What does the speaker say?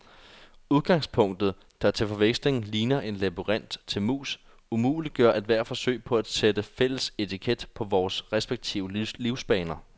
Udgangspunktet, der til forveksling ligner en labyrint til mus, umuliggør ethvert forsøg på at sætte fælles etiket på vore respektive livsbaner.